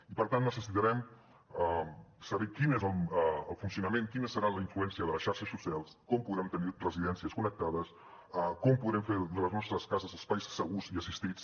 i per tant necessitarem saber quin és el funcionament quina serà la influència de les xarxes socials com podrem tenir residències connectades com podrem fer de les nostres cases espais segurs i assistits